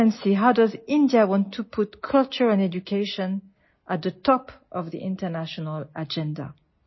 Excellency, how does India want to put culture and education at the top of the international agenda